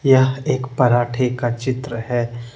यह एक पराठे का चित्र है।